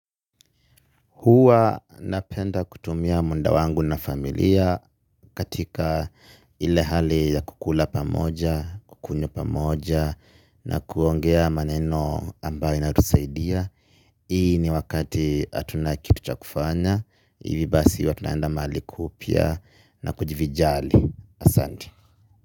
Huwa napenda kutumia muda wangu na familia katika ile hali ya kukula pamoja, kukunywa pamoja na kuongea maneno ambayo na inatusaidia. Hii ni wakati hatuna kitu cha kufanya. Ivi basi huwa tunaenda mahali kupia na kujivijari. Asante.